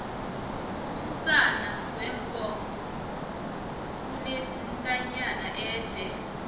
umsana weenkomo unentanyana ede